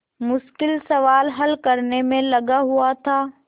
मुश्किल सवाल हल करने में लगा हुआ था